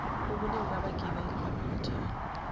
ubuningi babagibeli abangathwalwa